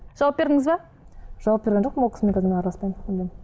жауап бердіңіз бе жауап берген жоқпын ол кісімен қазір мен араласпаймын мүлдем